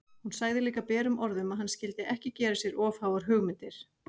Hún sagði líka berum orðum að hann skyldi ekki gera sér of háar hugmyndir!